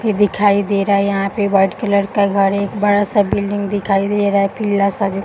ये दिखाई दे रहा है यहाँ पे वाइट कलर का गाड़ी। एक बड़ा सा बिल्डिंग दिखाई दे रहा है पीला सा।